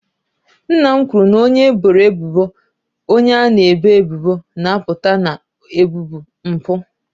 Nna m kwuru na onye eboro ebubo bụ onye a na-ebo ebubo na-apụta na ebubo mpụ.